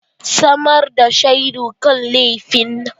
Samar da shaidu kan laifin!